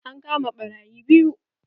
An kama ɓarayi biyu.